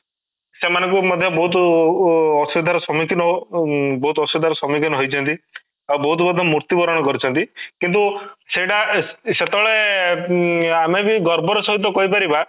ସେମାନଙ୍କୁ ମଧ୍ୟ ବହୁତ ଉ ବହୁତ ଅସୁବିଧା ର ସମ୍ମୁଖୀନ ଓଃ ଉଁ ବହୁତ ଅସୁବିଧା ର ସମ୍ମୁଖୀନ ହୋଇଛନ୍ତି ଆଉ ବହୁତ ମଧ୍ୟ ମୃତ୍ୟୁବରଣ କରିଛନ୍ତି କିନ୍ତୁ ସେଇଟା ସେତେବେଳେ ଉମଂ ଆମେ ବି ଗର୍ବ ର ସହିତ କହିପାରିବା